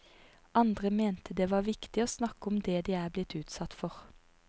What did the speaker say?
Andre mente det var viktig å snakke om det de er blitt utsatt for.